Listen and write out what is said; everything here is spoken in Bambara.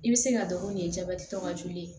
I bɛ se ka dɔrɔn nin ye jabɛti tɔ ka joli ye